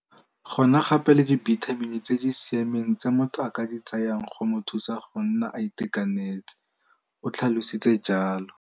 Go na gape le dibitamini tse di siameng tse motho a ka di tsayang go mo thusa go nna a itekanetse, o tlhalositse jalo.